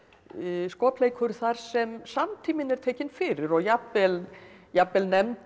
skopleikur þar sem samtíminn er tekinn fyrir og jafnvel jafnvel nefndir eða